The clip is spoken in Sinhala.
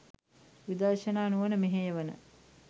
විදර්ශනා නුවණ මෙහෙයවන